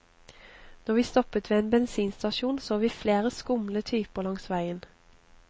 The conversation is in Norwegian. Når vi stoppet ved en bensinstasjon så vi flere skumle typer langs veien.